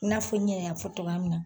I n'a fɔ Ɲɛ y'a fɔ cogoya min na.